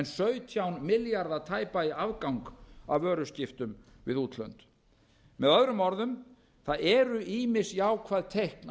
sautján milljarða tæpa í afgang af vöruskiptum við útlönd með öðrum orðum það eru ýmis jákvæð teikn